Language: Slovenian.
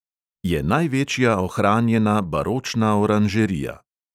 Je največja ohranjena baročna oranžerija.